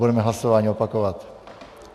Budeme hlasování opakovat.